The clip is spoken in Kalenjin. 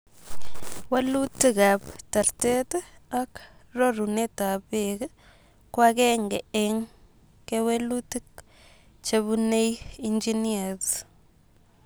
Walutikap tartet ak rorunetap peek ko agenge en kewelutik chepunee engineers